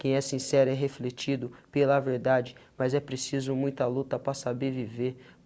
Quem é sincero é refletido pela verdade, mas é preciso muita luta para saber viver.